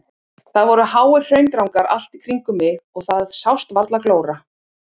Það voru háir hraundrangar allt í kringum mig og það sást varla glóra.